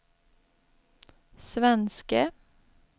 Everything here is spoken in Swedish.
svenske